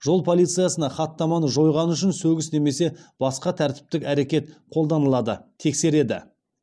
жол полициясына хаттаманы жойғаны үшін сөгіс немесе басқа тәртіптік әрекет қолданылады тексереді